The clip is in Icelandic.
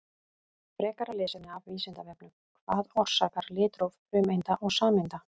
Frekara lesefni af Vísindavefnum: Hvað orsakar litróf frumeinda og sameinda?